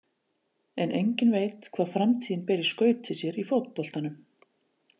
En enginn veit hvað framtíðin ber í skauti sér í fótboltanum.